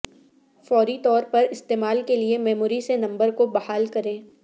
فوری طور پر استعمال کے لئے میموری سے نمبر کو بحال کریں